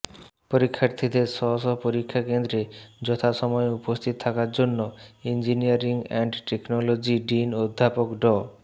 পরীক্ষার্থীদের স্ব স্ব পরীক্ষা কেন্দ্রে যথাসময়ে উপস্থিত থাকার জন্য ইঞ্জিনিয়ারিং এন্ড টেকনোলজি ডিন অধ্যাপক ড